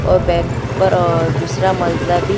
और बैंक पर अ दूसरा मनज़ला भी --